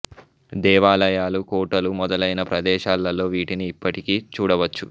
దేవాలయాలు కోటలు మొదలైన ప్రదేశాలలో వీటిని ఇప్పటికీ చూడ వచ్చు